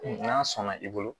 N'a sɔnna i bolo